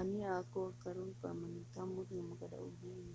ania ako aron maningkamot nga makadaog niini.